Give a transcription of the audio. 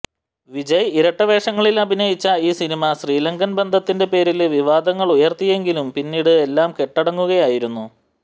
വിജയ് ഇരട്ട വേഷങ്ങളിലഭിനയിച്ച ഈ സിനിമ ശ്രീലങ്കന് ബന്ധത്തിന്റെ പേരില് വിവാദങ്ങളുയര്ത്തിയെങ്കിലും പിന്നീട് എല്ലാം കെട്ടടങ്ങുകയായിരുന്നു